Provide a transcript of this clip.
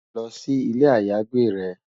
Lò si ilé àyágbé rè